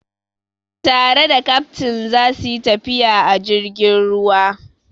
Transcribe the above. Tare da kaftin za su yi tafiya a jirgin ruwa.